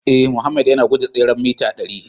Ee, Mohammed yana guje tseren mita dari